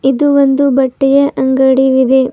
ಇದು ಒಂದು ಬಟ್ಟೆಯ ಅಂಗಡಿ ವಿದೆ.